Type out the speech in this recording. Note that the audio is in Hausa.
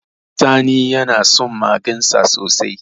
Sani yana son magensa sosai